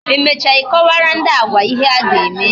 Emecha I kọwara ndị Agwa ihe a ga-eme